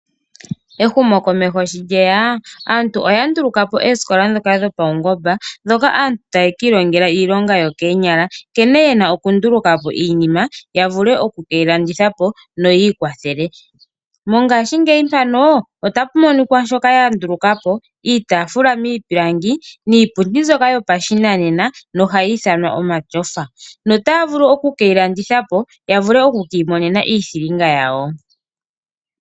Ehumo komeho shi lyeya aantu oya nduluka po oosikola dhopawugomba ndhoka aantu haye kiilongela iilonga yo koonyala, nkene yena okundulukapo iinima yavule okukeyilandithapo yo yiikwathele. Mongaashi ngeyi mpano otapu monika shoka yandulukapo iitafula miipilangi niipundi mbyoka yopashinanena no hayiithanwa omatyofa, otaavulu okukeyilandithapo yavule okwiimonena iithilinga yawo.